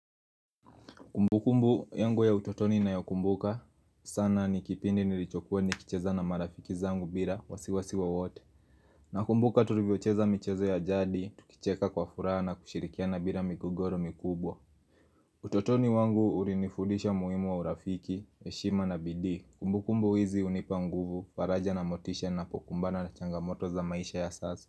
Kumbu kumbu yangu ya utotoni na ya kumbuka sana nikipindi nilichokuwa nikicheza na marafiki zangu bila wasiwasiwa wote na kumbuka tulivyocheza michezo ya jadi, tukicheka kwa furaha na kushirikia na bila migogoro mikubwa utotoni wangu urinifudisha muhimu wa urafiki, heshima na bidii Kumbu kumbu hizi hunipa nguvu, faraja na motisha na pokumbana na changamoto za maisha ya sasa.